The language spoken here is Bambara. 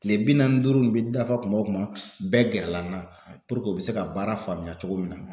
Kile bi naani ni duuru in bɛ dafa kuma o kuma, bɛɛ gɛrɛ la n'a u be se ka baara faamuya cogo min na.